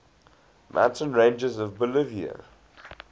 mountain ranges of bolivia